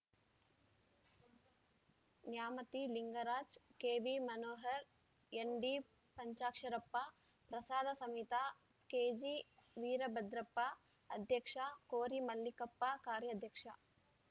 Nyamathi Lingaraj K V Manohar N D Panchaksharappa ಪ್ರಸಾದ ಸಮಿತಿ ಕೆಜಿವೀರಭದ್ರಪ್ಪ ಅಧ್ಯಕ್ಷ ಕೋರಿ ಮಲ್ಲಿಕಪ್ಪ ಕಾರ್ಯಾಧ್ಯಕ್ಷ